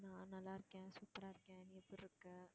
நான் நல்லா இருக்கேன், சூப்பரா இருக்கேன் நீ எப்படி இருக்க?